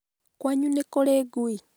kwanyu nĩkũri ngui?